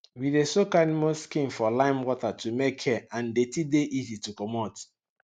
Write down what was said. we dey soak animal skin for limewater to make hair and deti dey easy to comot